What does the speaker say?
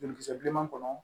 Jolikisɛ bilenman kɔnɔ